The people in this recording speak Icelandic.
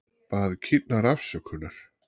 Bað kýrnar afsökunar